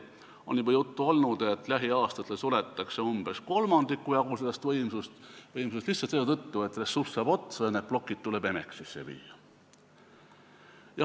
On juba juttu olnud, et lähiaastatel suletakse umbes kolmandiku jagu sellest võimsusest, ilmselt lihtsalt selle tõttu, et ressurss saab otsa ja need plokid tuleb Emexisse viia.